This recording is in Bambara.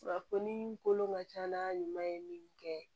Kunnafoni kolon ka ca n'a ɲuman ye min kɛ